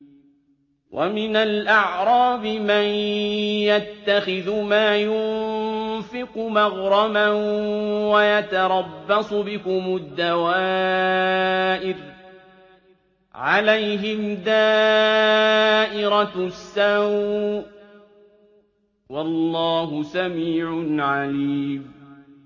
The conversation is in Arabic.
وَمِنَ الْأَعْرَابِ مَن يَتَّخِذُ مَا يُنفِقُ مَغْرَمًا وَيَتَرَبَّصُ بِكُمُ الدَّوَائِرَ ۚ عَلَيْهِمْ دَائِرَةُ السَّوْءِ ۗ وَاللَّهُ سَمِيعٌ عَلِيمٌ